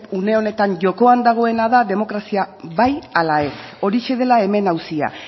une honetan jokoan dagoena da demokrazia bai ala ez horixe dela hemen auzia